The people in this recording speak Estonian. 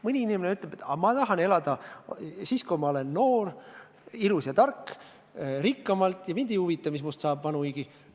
Mõni inimene ütleb, et ma tahan elada rikkamalt siis, kui ma olen noor, ilus ja tark, ja mind ei huvita, mis minust vanuigi saab.